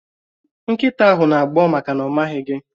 Nkịta ahụ na-agbọ́ maka na ọ̀ maghị gi